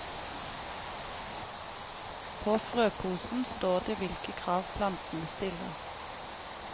På frøposen står det hvilke krav plantene stiller.